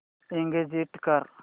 exit कर